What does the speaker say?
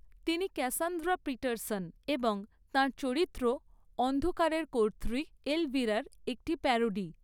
তিনি Cassandra Peterson এবং তাঁর চরিত্র অন্ধকারের কর্ত্রী, এলভিরার একটি প্যারোডি।